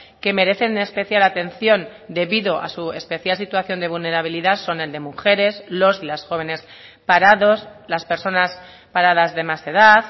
que merecen especial atención debido a su especial situación de vulnerabilidad son el de mujeres los y las jóvenes parados las personas paradas de más edad